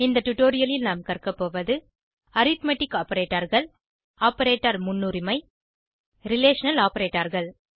இந்த டுடோரியலில் நாம் கற்கபோவது அரித்மெட்டிக் Operatorகள் ஆப்பரேட்டர் முன்னுரிமை ரிலேஷனல் Operatorகள்